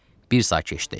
Bir saat keçdi.